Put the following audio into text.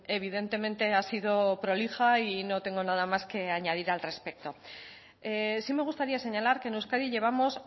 evidentemente ha sido prolija y no tengo nada más que añadir al respecto sí me gustaría señalar que en euskadi llevamos